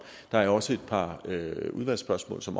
der er også et par udvalgsspørgsmål som